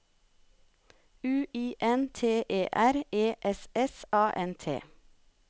U I N T E R E S S A N T